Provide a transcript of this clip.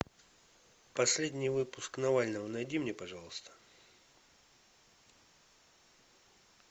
последний выпуск навального найди мне пожалуйста